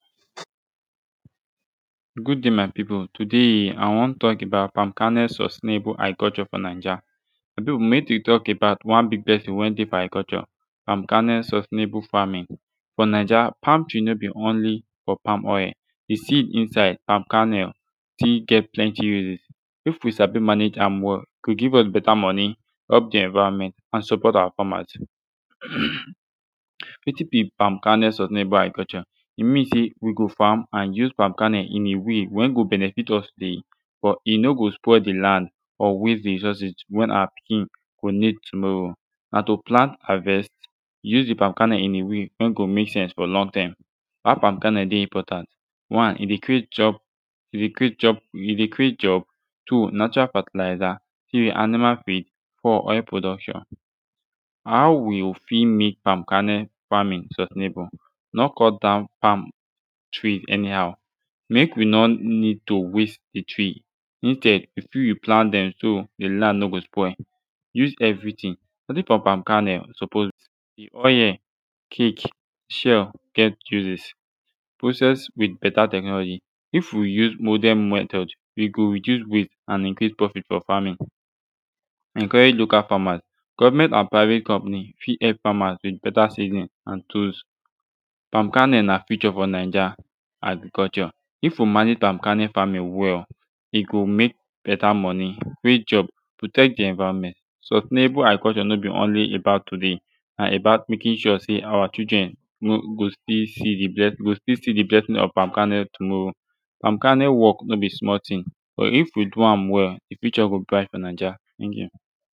good dai my pipu today i wan tok about palm kernel sustainable agriculture fo naija although mek wi tok about one big blessing wey dey fo agriculture palm kernel sustainable famin fo naija palm tree no bi onli fo palm oil de seed inside palm kernel stil get plenti use if wi sabi manage am wel e go give us beta moni help de environment and support our famas um wetin bi palm kernel sustainable agriculture e min sey wi go fam and use palm kernel in a way wen go benefit us dey but e no go spoil de land or waste de resources wen awa pikin go nid tomorow na to plant harvest use de palm kernel in a way wey go mek sense fo long term how palm kernel dey important one e dey create job e dey create job e de create job two natural fertilizer three animal feed four oil production how wi fit mek palm kernel famin sustainable no cut down palm tree anihow mek wi no nid to waste de tree instead wi fit replant dem so de land no go spoil use evritin produce frum palm kernel suppose de oil cake shell get uses process wit beta technology if wi use modern method e go reduce waste and increase profit fo farmin encourage local famas govment and private company fit help famas wit beta seedling and tools palm kernel na future fo naija agriculture if wi manage palm kernel farmin wel e go mek beta monie create job protect de environment sustainable agriculture no bi onli about todai na about mekin sure sey awa children no go still si de bless go still si de blessing of palm kernel tomorrow palm kernel wok no bi small tin but if wi do am wel de future go bright fo naija teink yu